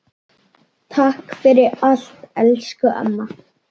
Takk fyrir allt elsku amma.